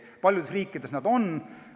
Paljudes riikides on nad olemas.